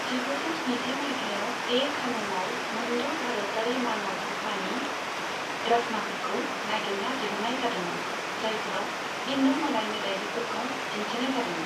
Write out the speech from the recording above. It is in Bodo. जिगुजौ स्निजि मायथाइयाव, ए खानौमआव मोनद' भारतारि मानक रुपानि ड्रच्माफोरखौ नागिरना दिहुननाय जादोंमोन, जायफोराव हिन्दु मोदाय मोदायजोफोरखौ दिन्थिनाय जादोंमोन।